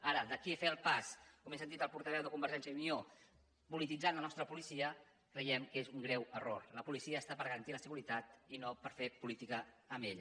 ara d’aquí a fer el pas com he sentit al portaveu de convergència i unió de polititzar la nostra policia creiem que és un greu error la policia està per garantir la seguretat i no per fer política amb ella